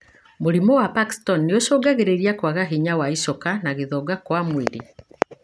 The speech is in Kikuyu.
Mũrimũ wa Parkiston nĩ ũcungagĩrĩra kwaga hinya wa icoka na gũthonga kwa mwĩrĩ.